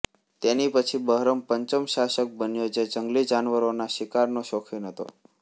તેની પછી બહરમ પંચમ શાસક બન્યો જે જંગલી જાનવરોના શિકારનો શોખીન હતો